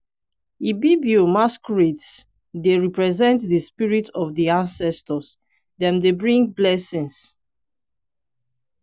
ibibio masquerades dey represent di spirit of di ancestors dem dey bring blessings.